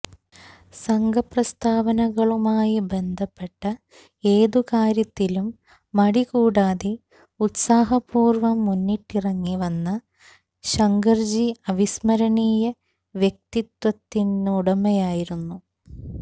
സംഘപ്രസ്ഥാനങ്ങളുമായി ബന്ധപ്പെട്ട ഏതു കാര്യത്തിലും മടി കൂടാതെ ഉത്സാഹപൂര്വം മുന്നിട്ടിറങ്ങി വന്ന ശങ്കര്ജി അവിസ്മരണീയ വ്യക്തിത്വത്തിനുടമയായിരുന്നു